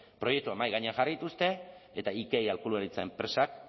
proiektuak mahai gainean jarri dituzte eta ikei aholkularitza enpresak